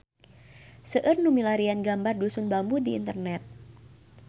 Seueur nu milarian gambar Dusun Bambu di internet